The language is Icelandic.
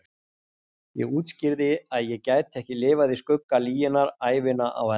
Ég útskýrði að ég gæti ekki lifað í skugga lyginnar ævina á enda.